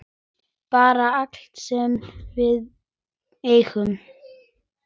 Bara allt sem við eigum.